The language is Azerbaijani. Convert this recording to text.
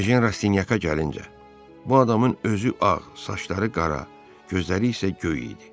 Ejen Rastinyaka gəlincə, bu adamın özü ağ, saçları qara, gözləri isə göy idi.